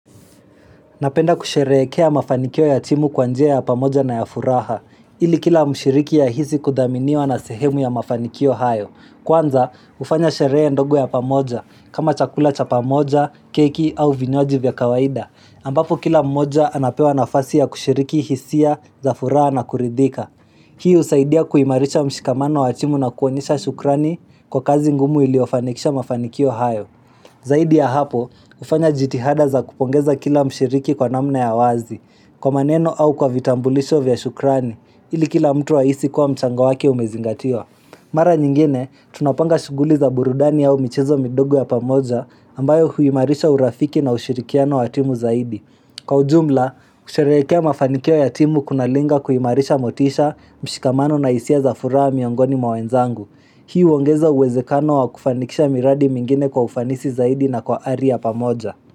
Napenda kusherehekea mafanikio ya timu kwa njia ya pamoja na ya furaha, ili kila mshiriki ahisi kudhaminiwa na sehemu ya mafanikio hayo. Kwanza, hufanya sherehe ndogo ya pamoja, kama chakula cha pamoja, keki au vinywaji vya kawaida, ambapo kila mmoja anapewa nafasi ya kushiriki hisia za furaha na kuridhika. Hii husaidia kuimarisha mshikamano wa timu na kuonyesha shukrani kwa kazi ngumu iliyofanikisha mafanikio hayo. Zaidi ya hapo, hufanya jitihada za kupongeza kila mshiriki kwa namna ya wazi, kwa maneno au kwa vitambulisho vya shukrani, ili kila mtu ahisi kuwa mchango wake umezingatiwa. Mara nyingine, tunapanga shughuli za burudani au michezo midogo ya pamoja ambayo huimarisha urafiki na ushirikiano wa timu zaidi. Kwa ujumla, kusherehekea mafanikio ya timu kunalenga kuimarisha motisha, mshikamano, na hisia za furaha miongoni mwa wenzangu. Hii huongeza uwezekano wa kufanikisha miradi mingine kwa ufanisi zaidi na kwa ari ya pamoja.